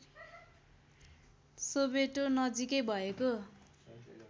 Soweto नजिकै भएको